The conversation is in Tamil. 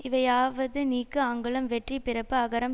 இவையாவது நீக்கு அங்குளம் வெற்றி பிறப்பு அகரம்